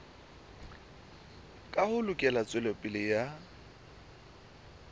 ka ho lekola tswelopele ya